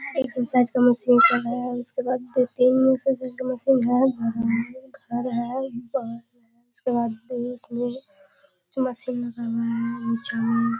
Exercise का machine सब है। उसके बाद दो तीन मशीन है घर है उसके बाद --